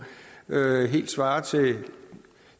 helt svarer til